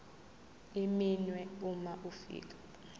iminwe uma ufika